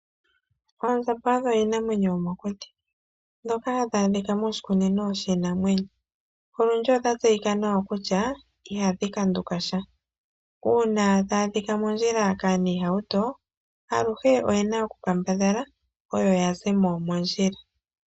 Oondjamba odho dhimwe dhomiinamwenyo yomokuti nodhili woo hadhi a dhika moshikunino shiinamwenyo. Odhili dha tseyika nawa kaantu oyendji kutya ihadhi kanduka sha nongele aahingi yiitukutuku oyedhi tsakaneke moondjila oyo ashike yena oku kanduka.